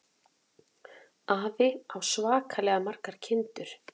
Afi á svakalega margar kindur.